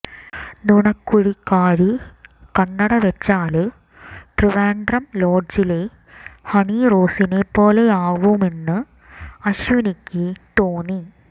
നുണക്കുഴിക്കാരി കണ്ണട വെച്ചാല് ട്രിവാന്ഡ്രം ലോഡ്ജിലെ ഹണി റോസിനെപ്പോലെയാവുമെന്ന് അശ്വിനിക്ക് തോന്നി